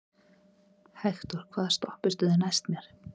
Hektor, hvaða stoppistöð er næst mér?